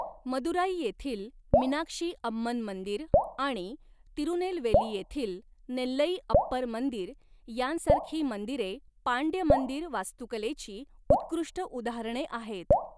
मदुराई येथील मीनाक्षी अम्मन मंदिर आणि तिरुनेलवेली येथील नेल्लईअप्पर मंदिर यांसारखी मंदिरे पांड्य मंदिर वास्तुकलेची उत्कृष्ट उदाहरणे आहेत.